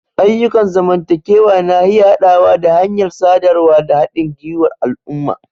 Ayyukan zamantakewa na iya haɗawa da hanyar sadarwa da haɗin gwiwar al'umma.